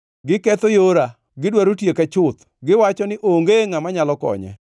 Giketho yora, gidwaro tieka chuth. Giwacho ni, ‘Onge ngʼama nyalo konye.’